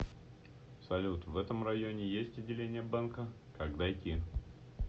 салют в этом районе есть отделение банка как дойти